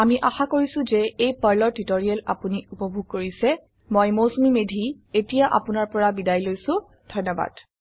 আমি আশা কৰিছো যে এই পাৰ্ল টিউটৰিয়েল আপোনি উপভোগ কৰিছে মই মৌচুমী মেধী এতিয়া আপুনাৰ পৰা বিদায় লৈছো ধন্যবাদ